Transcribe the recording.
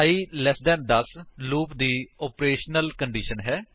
i ਲਟ 10 loop ਦੀ operational condition ਹੈ